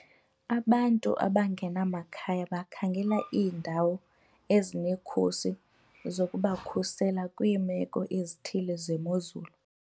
Abantu abangenamakhaya bakhangela iindawo ezinekhusi zokubakhusela kwiimeko ezithile zemozulu.